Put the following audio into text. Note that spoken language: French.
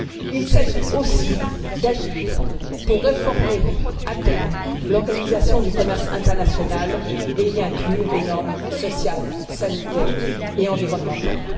Il s'agit aussi d'agir pour réformer, à terme, l'organisation du commerce international et y inclure des normes sociales, sanitaires et environnementales.